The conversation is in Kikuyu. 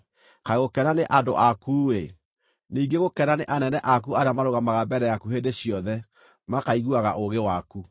Kaĩ gũkena nĩ andũ aku-ĩ! Ningĩ gũkena nĩ anene aku arĩa marũgamaga mbere yaku hĩndĩ ciothe makaiguaga ũũgĩ waku!